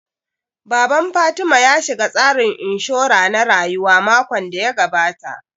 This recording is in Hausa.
Baban Fatima ya shiga tsarin inshura na rayuwa makon da ya gabata